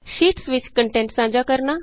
sheets ਵਿਚ content ਸਾਂਝਾ ਕਰਨਾ